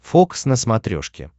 фокс на смотрешке